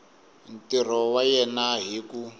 ntirho wa yena hi ku